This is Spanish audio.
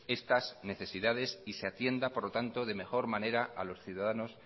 estas necesidades y se atienda por lo tanto de mejor manera a los ciudadanos